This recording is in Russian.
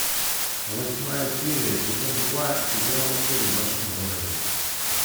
восьмая серия сезон два сериал секс в большом городе